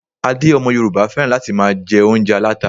Adé ọmọ Yorùbá féràn láti máa jẹ oúnjẹ aláta.